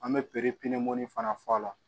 An bɛ piri pinɛ mun fana fɔ a la